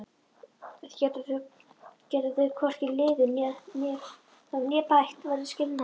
Geti þau hvorki liðið þá né bætt verður skilnaður.